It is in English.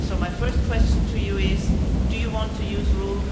So my first question to you is do you want to use Rule